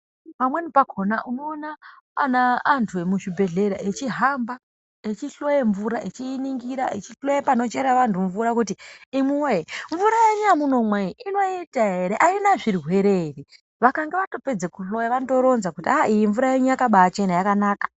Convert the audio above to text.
Pamweni pakhona unoona ana antu emuzvibhendlera echihamba achihloya mvura. Echiiningira, echihloya panochera vantu mvura kuti imwi woyee mvura yenyu yamunomwa iyi inoita ere? Aina zvirwere ere? Vakange vatopedza kuhloya vanotoronza kuti aaah iyi mvura yenyu yakabaachena, yakanaka.